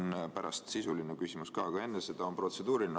Mul on pärast sisuline küsimus ka, aga enne seda on protseduuriline.